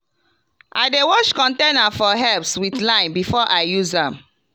i dey wash container for herbs with lime before i use am.